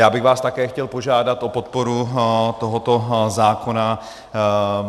Já bych vás také chtěl požádat o podporu tohoto zákona.